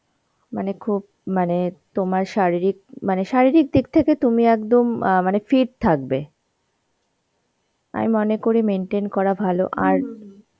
মানে খুব মানে তোমার শারীরিক, মানে শারীরিক দিক থেকে তুমি একদম অ্যাঁ মানে fit থাকবে. আমি মনে করি maintain করা ভালো, আর